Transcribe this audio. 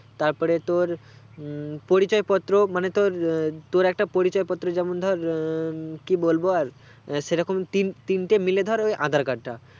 তারপরে তোর পরিচয় পত্র মানে তোর আহ তোর একটা পরিচয় পত্র যেমন ধর আহ কি বলবো আর সেরকম তিনতিনটে মাইল ধর aadhar card টা